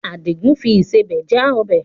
Àdìgún fi ìsebẹ̀ já ọbẹ̀.